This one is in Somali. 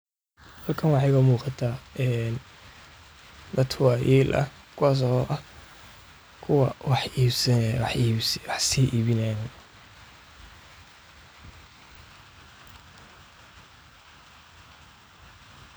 Dadka waayeelka ah ee bulshada waa tiir muhiim ah oo dhaqanka, aqoonta iyo hiddaha laga dhaxlo, waayo waxay leeyihiin waayo-aragnimo dheer oo nolosha ah, taasoo ka dhigaysa kuwo lagu kalsoonaan karo marka laga hadlayo talo bixinta, xallinta khilaafaadka, iyo hogaaminta bulshada.